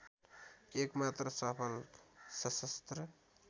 एकमात्र सफल सशस्त्र